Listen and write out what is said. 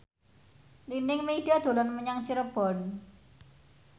Nining Meida dolan menyang Cirebon